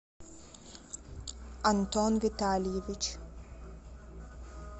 антон витальевич